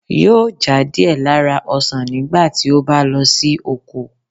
yóò já díẹ̀ lára ​​ọsan nígbà tí ó bá lọ sí oko.